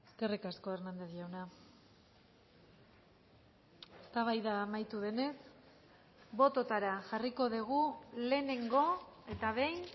eskerrik asko hernández jauna eztabaida amaitu denez bototara jarriko dugu lehenengo eta behin